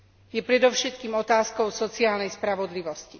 Je predovšetkým otázkou sociálnej spravodlivosti.